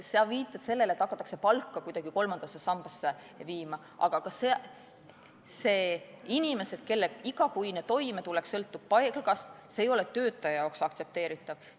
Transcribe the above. Sa viitad sellele, et hakatakse palka kuidagi kolmandasse sambasse viima, aga kui inimeste igakuine toimetulek sõltub palgast, siis see ei ole töötaja jaoks aktsepteeritav.